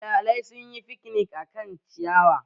Iyalai sun yi fiknik a kan ciyawa